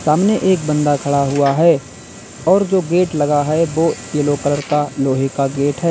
सामने एक बंदा खड़ा हुआ है और जो गेट लगा है वो येलो कलर का लोहे का गेट है।